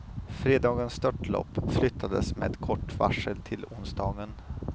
Fredagens störtlopp flyttades med kort varsel till onsdagen.